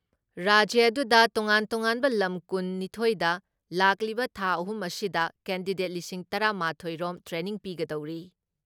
ꯔꯥꯖ꯭ꯌ ꯑꯗꯨꯗ ꯇꯣꯉꯥꯟ ꯇꯣꯉꯥꯟꯕ ꯂꯝ ꯀꯨꯟ ꯅꯤꯊꯣꯏꯗ ꯂꯥꯛꯂꯤꯕ ꯊꯥ ꯑꯍꯨꯝ ꯑꯁꯤꯗ ꯀꯦꯟꯗꯤꯗꯦꯠ ꯂꯤꯁꯤꯡ ꯇꯔꯥ ꯃꯥꯊꯣꯏ ꯔꯣꯝ ꯇ꯭ꯔꯦꯅꯤꯡ ꯄꯤꯒꯗꯧꯔꯤ ꯫